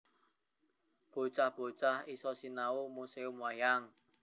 Bocah bocah iso sinau perkoro wayang ing Museum Wayang